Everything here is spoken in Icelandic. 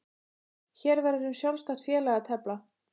Hér verður um sjálfstætt félag að tefla.